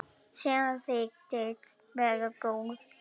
Sem þykist vera góð.